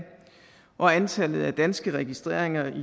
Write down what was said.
og antallet af danske registreringer i